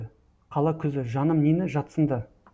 қала күзі жаным нені жатсынды